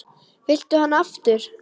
Viltu hana aftur?